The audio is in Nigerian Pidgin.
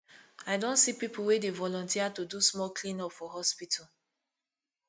i don see pipu wey dey volunteer to do small cleanup for hospital